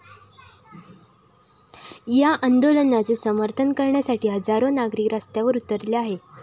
या आंदोलनाचे समर्थन करण्यासाठी हजारो नागरिक रस्त्यावर उतरले आहेत.